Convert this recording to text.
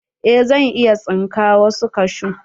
Eh zan iya tsinka wasu kashu.